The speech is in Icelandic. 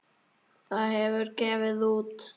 Það hefur gefið út